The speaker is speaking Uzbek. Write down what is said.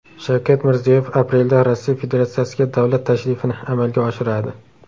Shavkat Mirziyoyev aprelda Rossiya Federatsiyasiga davlat tashrifini amalga oshiradi.